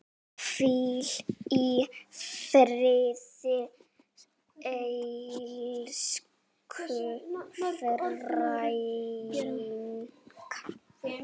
Hvíl í friði elsku frænka.